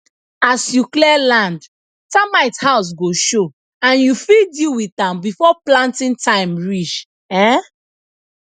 as you clear land termite house go show and you fit deal with am before planting time reach um